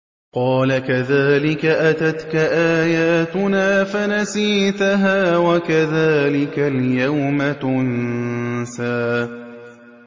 قَالَ كَذَٰلِكَ أَتَتْكَ آيَاتُنَا فَنَسِيتَهَا ۖ وَكَذَٰلِكَ الْيَوْمَ تُنسَىٰ